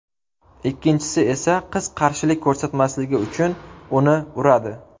Ikkinchisi esa qiz qarshilik ko‘rsatmasligi uchun uni uradi.